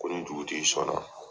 Ko ni dugutigi sɔn na.